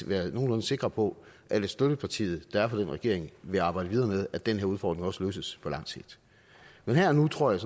være nogenlunde sikre på at støttepartiet der er for den regering vil arbejde videre med at den her udfordring også løses på lang sigt men her og nu tror jeg